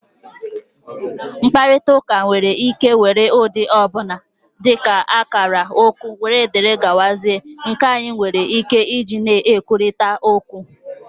mkparịta ụka nwere ike were ụdị ọ bụla, dị ka akara, okwu wdg, nke anyị nwere ike iji na-ekwurịta okwu